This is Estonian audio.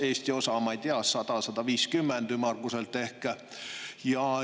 Eesti osa, ma ei tea, on ümmarguselt ehk 100–150 miljonit.